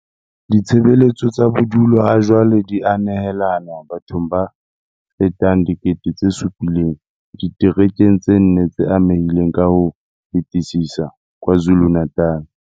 Ditshebeletso tsa bodulo hajwale di a nehelanwa bathong ba fetang 7 000 diterekeng tse nne tse amehileng ka ho fetisisa KwaZulu-Natal.